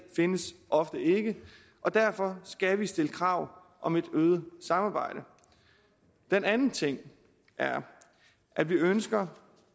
findes ofte ikke derfor skal vi stille krav om et øget samarbejde den anden ting er at vi ønsker